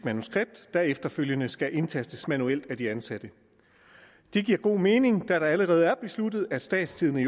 manuskript der efterfølgende skal indtastes manuelt af de ansatte det giver god mening da det allerede er blevet besluttet at statstidende